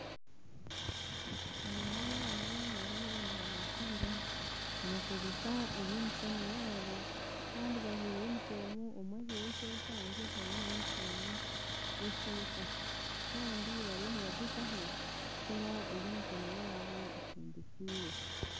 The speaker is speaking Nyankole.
Aba n'abaana bariyo nibabaziira nibakozesa ebyemikono yabo Kandi bajwire unifoomu omwe ajwire eshweta ondijo taine unifoomu yeshweta Kandi bariyo nibagyezaho kukora eby'emikono yaabo